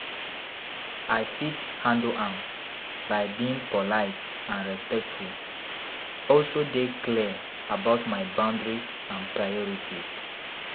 I fit handle am by being polite and respectful, also dey clear about my boundaries and priorities.